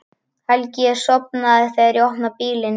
Helgi er sofnaður þegar ég opna bílinn.